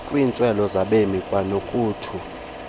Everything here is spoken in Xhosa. kwiintswelo zabemi kwanokuthu